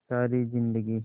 सारी जिंदगी